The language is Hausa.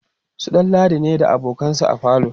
su ɗanladi ne da abokansa a falo